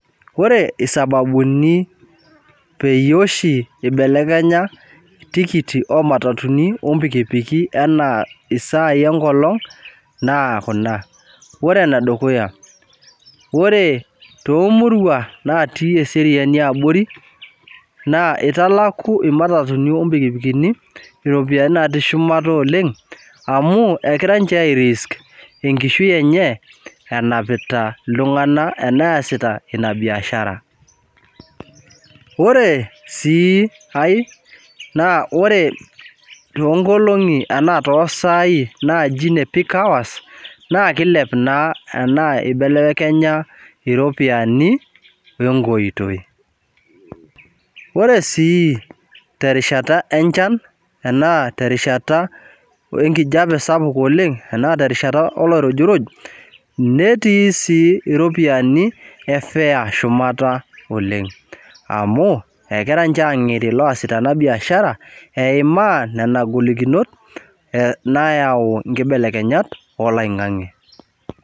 Indim oltungani niwun enkujit peyie iramatie inkishu inono, nindim sii niwun irkiek peyie enebulu lelo irkiek neyau enchan, neyau sii enkijape sidai to eloing'ang'e. Ore peyie ebulu lelo irkiek neyau enchan niindim oltungani niramatie enkishu inonok neitubulu ena inshan inkujit, inkujit naanya inkishu inonok netum kule inkishu inonok, niindim oltungani nimirr nena ile inono peyie ilaakinye inkera inonok school fees niindim oltungani ninteru nkule biasharatin nayau impisai.